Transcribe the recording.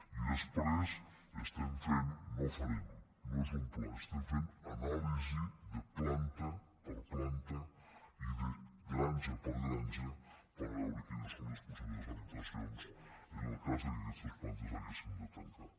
i després estem fent no farem no és un pla ho estem fent anàlisi de planta per planta i de granja per granja per veure quines són les possibles afectacions en el cas que aquestes plantes haguessin de tancar